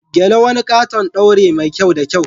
Gele, wani katon daure mai kyau da kyau.